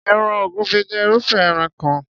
Ẹran ògúnfẹ jé irúfé ẹran kan.